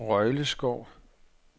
Røjleskov